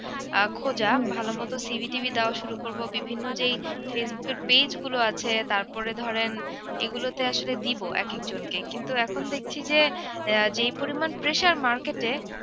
আহ খোজা ভালোমতো CV দেওয়া শুরু করব বিভিন্ন যেই facebook এর page গুলো আছে তারপরে ধরেন এগুলোতে আসলে দিব একেকজনকে কিন্তু এখন দেখছি যে আহ যেই পরিমান pressure market এ